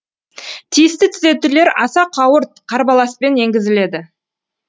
тиісті түзетулер аса қауырт қарбаласпен енгізіледі